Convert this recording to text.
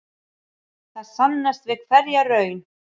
Það sannast við hverja raun.